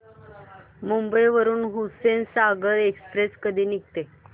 मुंबई वरून हुसेनसागर एक्सप्रेस कधी निघते